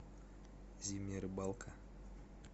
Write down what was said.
зимняя рыбалка